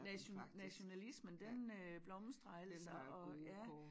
Nation nationalismen den øh blomstrer altså og ja